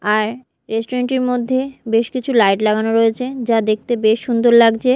আর restaurant -টির মধ্যে বেশ কিছু লাইট লাগানো রয়েছে যা দেখতে বেশ সুন্দর লাগজে।